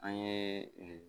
An ye